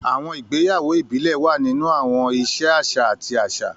Àwọn ìgbéyàwó ìbílẹ̀ wà nínú àwọn ìṣe àṣà àti àṣà.